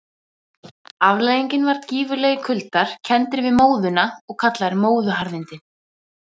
Afleiðingin var gífurlegir kuldar, kenndir við móðuna og kallaðir móðuharðindi.